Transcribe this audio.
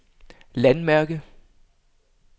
landmærke